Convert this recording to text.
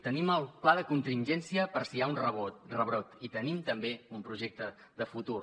tenim el pla de contingència per si hi ha un rebrot i tenim també un projecte de futur